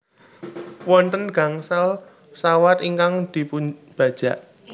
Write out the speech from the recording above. Wonten gangsal pesawat ingkang dipunbajak